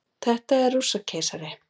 Þetta er Rússakeisari.